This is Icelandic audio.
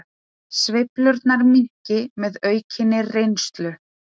Sveiflurnar minnki með aukinni reynslu